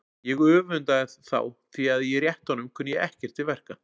Ég öfundaði þá því að í réttunum kunni ég ekkert til verka.